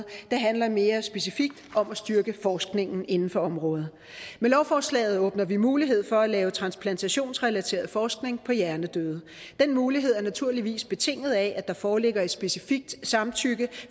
det handler mere specifikt om at styrke forskningen inden for området med lovforslaget åbner vi mulighed for at lave transplantationsrelateret forskning på hjernedøde den mulighed er naturligvis betinget af at der foreligger et specifikt samtykke